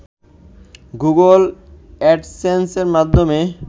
Google অ্যাডসেন্সের মাধ্যমে